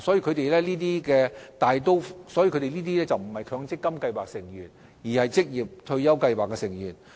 他們大部分都不是強積金計劃的成員，而是職業退休計劃的成員。